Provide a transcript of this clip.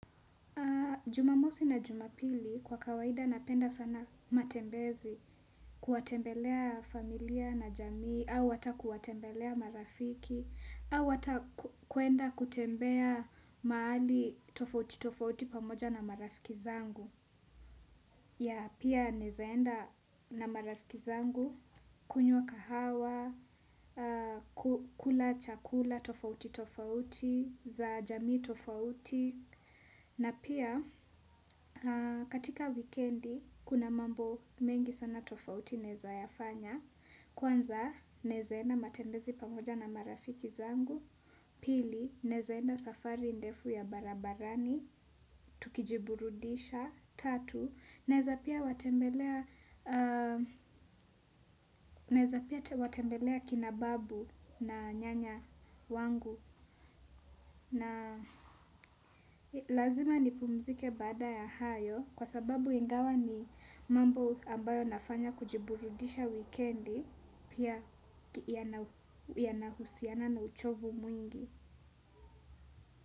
Jumamosi na jumapili kwa kawaida napenda sana matembezi kuwatembelea familia na jamii au ata kuwatembelea marafiki au ata kwenda kutembea mahali tofauti tofauti pamoja na marafiki zangu ya pia naweza enda na marafiki zangu kunywa kahawa kula chakula tofauti tofauti za jamii tofauti. Na pia katika wikendi kuna mambo mengi sana tofauti naeza ya fanya, kwanza naeza enda matembezi pamoja na marafiki zangu, pili naeza enda safari ndefu ya barabarani, tukijiburudisha, tatu, naeza pia watembelea pia watembelea kina babu na nyanya wangu. Na lazima ni pumzike baada ya hayo kwa sababu ingawa ni mambo ambayo nafanya kujiburudisha wikendi pia yanahusiana na uchovu mwingi.